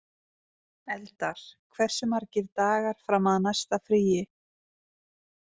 Eldar, hversu margir dagar fram að næsta fríi?